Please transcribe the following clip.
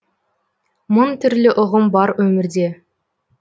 мың түрлі ұғым бар өмірде